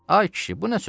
Ay kişi, bu nə sözdür?